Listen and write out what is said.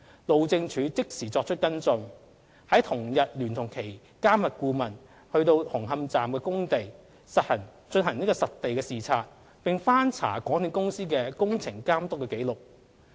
路政署即時作出跟進，在同日聯同其監核顧問到紅磡站工地進行實地視察，並翻查港鐵公司的工程監督紀錄。